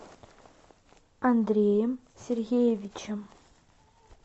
андреем сергеевичем